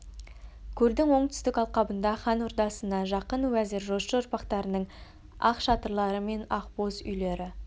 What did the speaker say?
көлдің оңтүстік алқабында хан ордасына жақын уәзір жошы ұрпақтарының ақ шатырлары мен ақбоз үйлері